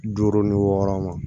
Duuru ni wɔɔrɔ ma